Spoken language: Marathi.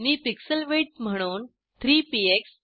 मी पिक्सल विड्थ म्हणून 3 पीएक्स